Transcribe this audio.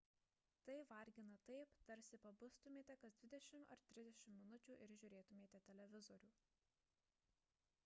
tai vargina taip tarsi pabustumėte kas dvidešimt ar trisdešimt minučių ir žiūrėtumėte televizorių